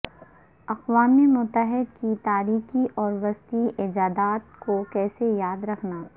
اقوام متحدہ کی تاریکی اور وسطی ایجادات کو کیسے یاد رکھنا